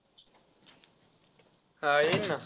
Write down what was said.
हा, येईन ना.